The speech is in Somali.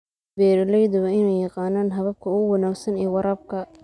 Beeralayda waa in ay yaqaanaan hababka ugu wanaagsan ee waraabka.